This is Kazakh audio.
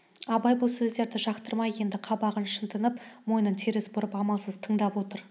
абай бұл сөздерді жақтырмай енді қабағын шытынып мойнын теріс бұрып амалсыз тыңдап отыр